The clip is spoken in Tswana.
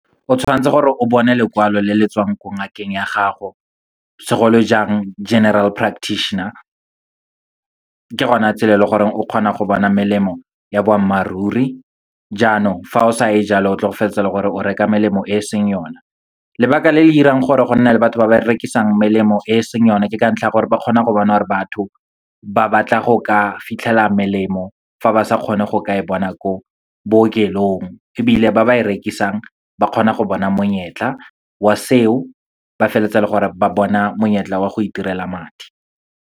O tshwantse gore o bone lekwalo le le tswang ko ngakeng ya gago, segolojang General Practitioner. Ke gona tsela e leng gore o kgona go bona melemo ya boammaaruri. Jaanong, fa o sa e jalo o tlo go feleletsa e le gore o reka melemo e seng yona. Lebaka le le dirang gore go nne le batho ba ba rekisang melemo e seng yone, ke ka ntlha ya gore ba kgona go bona gore batho ba batla go ka fitlhelela melemo, fa ba sa kgone go kae bona ko bookelong. Ebile ba ba e rekisang, ba kgona go bona monyetla wa seo, ba feleletsa e le gore ba bona monyetla wa go itirela madi.